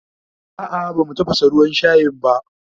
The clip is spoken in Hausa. A'a bamu tafasa ruwan shayin a